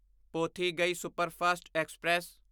Pothigai superfast express